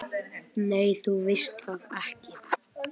Nei, þú veist það ekki.